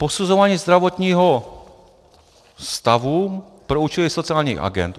- Posuzování zdravotního stavu pro účely sociálních agend.